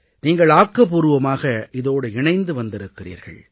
நீங்கள் ஆக்கபூர்வமாக இதோடு இணைந்து வந்திருக்கிறீர்கள்